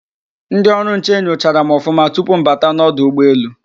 Ndị ọrụ nche nyochara m ọfụma tupu mbata n'ọdụ ụgbọ-elu.